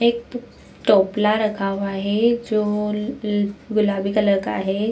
एक टोपला रखा हुआ हे जो ल ल गुलाबी कलर का हे।